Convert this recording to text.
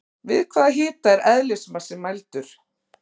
Við hvaða hita er eðlismassi mældur?